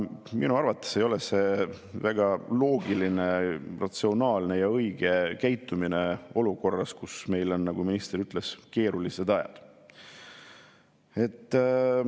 Minu arvates ei ole see väga loogiline, ratsionaalne ja õige käitumine olukorras, kus meil on, nagu minister ütles, keerulised ajad.